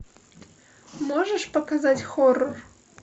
можешь показать хоррор